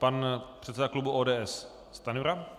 Pan předseda klubu ODS Stajnura.